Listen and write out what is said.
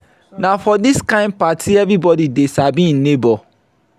na for dis kain party everybodi dey sabi im nebo.